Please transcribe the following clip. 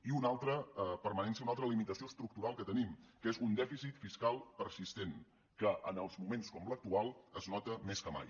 i una altra permanència una altra limitació estructural que tenim que és un dèficit fiscal persistent que en els moments com l’actual es nota més que mai